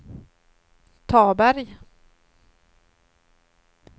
Taberg